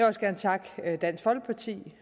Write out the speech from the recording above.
også gerne takke dansk folkeparti